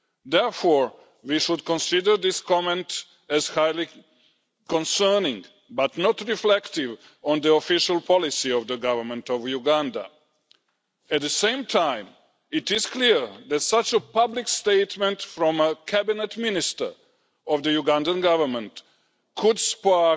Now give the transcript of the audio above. Therefore, we should consider this comment as highly concerning but not reflective of the official policy of the Government of Uganda. At the same time, it is clear that such a public statement from a Cabinet Minister of the Ugandan Government could spark